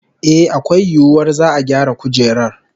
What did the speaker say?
Eh, akwai yiwuwar za'a gyara kujerar